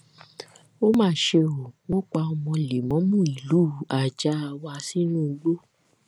ó mà ṣe ó wọn pa ọmọ lẹmọọmu ìlú àjáàwá sínú igbó